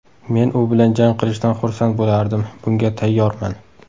Men u bilan jang qilishdan xursand bo‘lardim, bunga tayyorman.